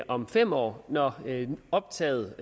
om fem år når optaget